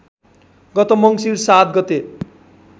गत मङ्सीर ७ गते